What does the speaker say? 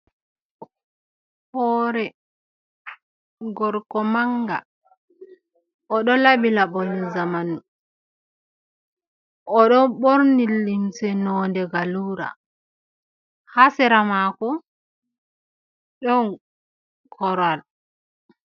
Hoore gorko mannga, o ɗo laɓi laɓol zamanu, ɗo ɓorni limse nonnde galluura, haa sera maako ɗo korwal.